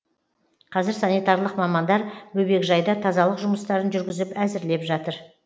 қазір санитарлық мамандар бөбекжайда тазалық жұмыстарын жүргізіп әзірлеп жатыр